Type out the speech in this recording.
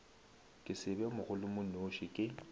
ke se be mogolomonoši ke